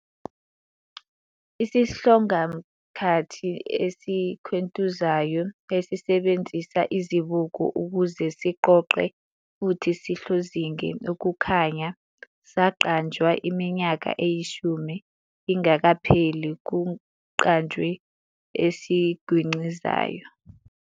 Isihlongamkhathi esikhwentuzayo, esisebenzisa izibuko ukuze siqoqe futhi sihlozinge ukukhanya, saqanjwa iminyaka eyishumi ingakapheli kuqanjwe esigwincizayo.